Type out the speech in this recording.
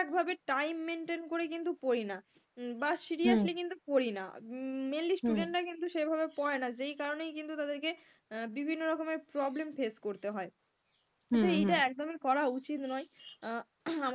একভাবে time maintain করে কিন্তু পড়িনা, বা seriously কিন্তু পড়িনা, mainly student রা কিন্তু সেভাবে পড়েনা যেকারণেই কিন্তু তাদেরকে বিভিন্ন রকমের problem face করতে হয়, এটা একদমই করা উচিত নয় আহ